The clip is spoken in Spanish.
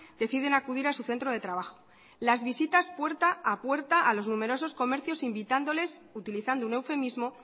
deciden acudir a su centro de trabajo las visitas puerta a puerta a los numerosos comercios invitándoles utilizando un eufemismo